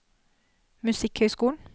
musikkhøyskolen